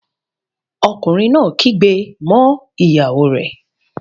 Ọkùnrin kan kígbe mọ́ ìyàwó rẹ̀